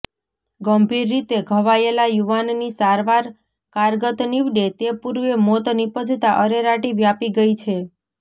ગંભીર રીતે ઘવાયેલા યુવાનની સારવાર કારગત નિવડે તે પુર્વે મોત નિપજતા અરેરાટી વ્યાપી ગઈ છે